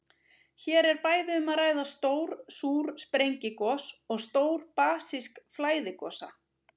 Hér er bæði um að ræða stór súr sprengigos og stór basísk flæðigosa.